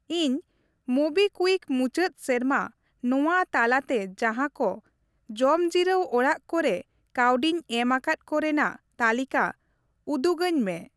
ᱤᱧ ᱢᱳᱵᱤᱠᱤᱣᱤᱠ ᱢᱩᱪᱟᱹᱫ ᱥᱮᱨᱢᱟ ᱱᱚᱣᱟ ᱛᱟᱞᱟᱛᱮ ᱡᱟᱸᱦᱟ ᱠᱚ ᱡᱚᱢᱡᱤᱨᱟᱹᱣ ᱚᱲᱟᱜ ᱠᱚᱨᱮ ᱠᱟ.ᱣᱰᱤᱧ ᱮᱢ ᱟᱠᱟᱫ ᱠᱚ ᱨᱮᱱᱟᱜ ᱛᱟᱹᱞᱤᱠᱟ ᱩᱫᱩᱜᱟᱹᱧ ᱢᱮ ᱾